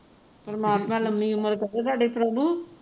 ਪਰਮਾਤਮਾ ਲੰਮੀ ਉਮਰ ਕਰੇ ਥੋਡੇ ਪ੍ਰਭੂ